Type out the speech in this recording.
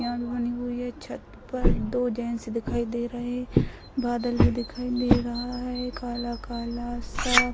भी बनी हुई है छत पर दो जेंट्स दिखाई दे रहे बादल भी दिखाई दे रहा है काला-काला सा।